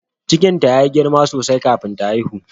Cikinta ya yi girma sosai kafin ta haihu.